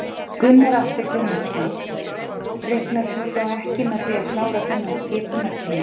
Gunnar Atli Gunnarsson: Reiknar þú þá ekki með því að klára þennan skipunartíma?